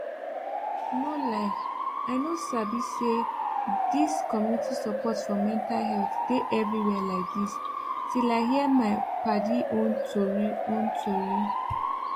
no lie i no sabi say dis community support for mental health dey everywhere like dis till i hear my padi own tori own tori